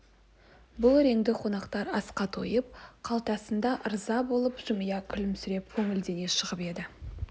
бұл реңді қонақтар асқа тойып қалтасына да ырза болып жымия күлісіп көңілдене шығып еді